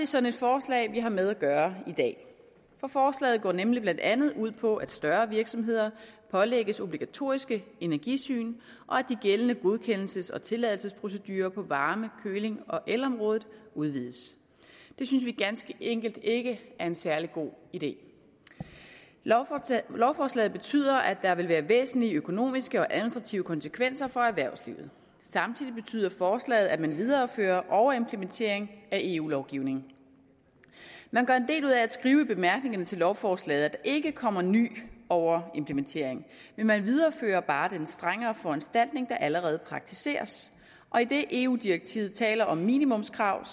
sådan et forslag vi har med at gøre i dag for forslaget går nemlig blandt andet ud på at større virksomheder pålægges obligatoriske energisyn og at de gældende godkendelses og tilladelsesprocedurer på varme køling og elområdet udvides det synes vi ganske enkelt ikke er en særlig god idé lovforslaget betyder at der vil være væsentlige økonomiske og administrative konsekvenser for erhvervslivet samtidig betyder forslaget at man viderefører overimplementering af eu lovgivning man gør en del ud af at skrive i bemærkningerne til lovforslaget at der ikke kommer ny overimplementering men man viderefører bare den strengere foranstaltning der allerede praktiseres og idet eu direktivet taler om minimumskrav